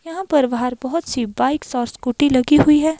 यहाँ पर बाहर बहुत सी बाइक्स और स्कूटी लगी हुई है।